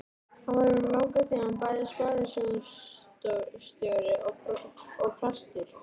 Hann var um langan tíma bæði sparisjóðsstjóri og prestur.